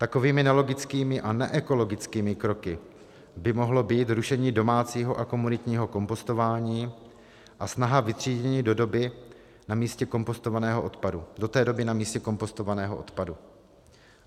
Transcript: Takovými nelogickými a neekologickými kroky by mohlo být rušení domácího a komunitního kompostování a snaha vytřídění do té doby na místě kompostovaného odpadu.